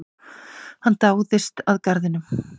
Hann dáðist að garðinum.